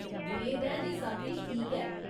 मेद ऐ जे सब किश ठीक ऐ।